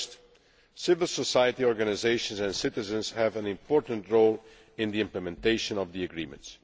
Firstly, civil society organisations and citizens have an important role in the implementation of the agreement.